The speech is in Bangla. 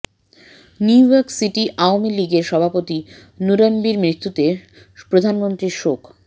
নিউইয়র্ক সিটি আওয়ামী লীগের সভাপতি নুরনবীর মৃত্যুতে প্রধানমন্ত্রীর শোক